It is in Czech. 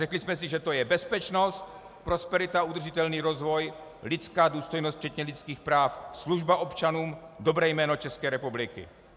Řekli jsme si, že to je bezpečnost, prosperita, udržitelný rozvoj, lidská důstojnost včetně lidských práv, služba občanům, dobré jméno České republiky.